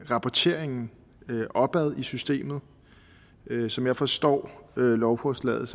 rapporteringen opad i systemet som jeg forstår lovforslaget